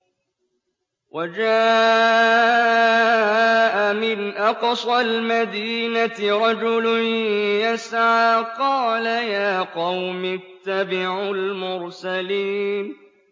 وَجَاءَ مِنْ أَقْصَى الْمَدِينَةِ رَجُلٌ يَسْعَىٰ قَالَ يَا قَوْمِ اتَّبِعُوا الْمُرْسَلِينَ